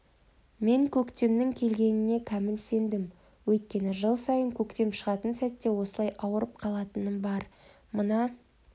мен көктемнің келгеніне кәміл сендім өйткені жыл сайын көктем шығатын сәтте осылай ауырып қалатыным бар мына